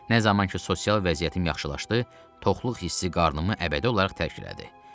Nə zaman ki sosial vəziyyətim yaxşılaşdı, toxluq hissi qarnımı əbədi olaraq tərk elədi.